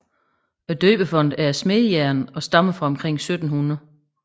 Døbefonten er af smedejern og stammer fra omkring 1700